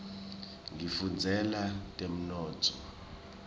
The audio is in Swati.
ngifundzela temnotfo